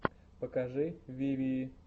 покажи вивии